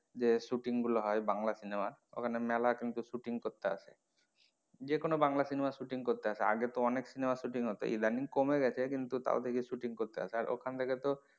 যে shooting গুলো হয় বাংলা cinema র ওখানে মেলা কিন্তু shooting করতে আসে যেকোনো বাংলা cinema র shooting করতে আসে দেখ আগে তো অনেক cinema র shooting হতো ইদানিং কমে গেছে কিন্তু তাও দেখি shooting করতে আসে আর ওখান থেকে তো,